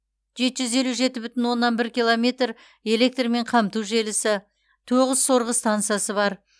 жеті жүз елу жеті бүтін оннан бір километр электрмен қамту желісі тоғыз сорғы стансасы бар